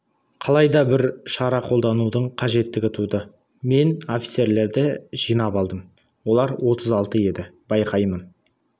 қалай да бір шара қолданудың қажеттігі туды мен офицерлерді жинап алдым олар отыз алты еді байқаймын